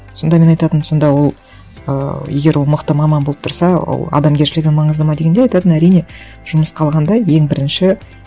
сонда мен айтатынмын сонда ол ыыы егер ол мықты маман болып тұрса ол адамгершілігі маңызды ма дегенде айтатын әрине жұмысқа алғанда ең бірінші